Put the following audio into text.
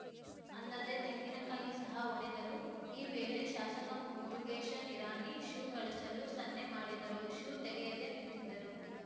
ಅಲ್ಲದೇ ತೆಂಗಿನಕಾಯಿ ಸಹ ಒಡೆದರು ಈ ವೇಳೆ ಶಾಸಕ ಮುರುಗೇಶ ನಿರಾಣಿ ಶೂ ಕಳಚಲು ಸನ್ನೆ ಮಾಡಿದರೂ ಶೂ ತೆಗೆಯದೇ ನಿಂತಿದ್ದರು